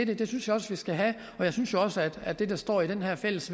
det synes jeg også vi skal have og jeg synes også at det der står i det her fælles